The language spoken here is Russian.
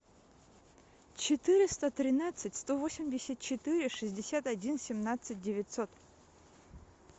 четыреста тринадцать сто восемьдесят четыре шестьдесят один семнадцать девятьсот